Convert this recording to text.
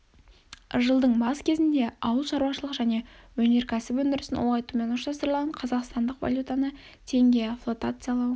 жылдың бас кезінде ауылшарушылық және өнерксіп өндірісін ұлғайтумен ұштастырылған қазақстандық валютаны теңге флотациялау